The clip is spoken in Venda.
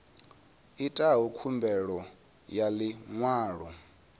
itaho khumbelo ya ḽi ṅwalo